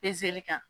Pezeli kan